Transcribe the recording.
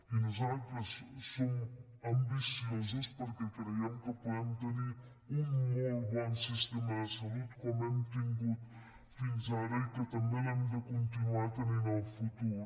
i nosaltres som ambiciosos perquè creiem que podem tenir un molt bon sistema de salut com l’hem tingut fins ara i que també l’hem de continuar tenint en el futur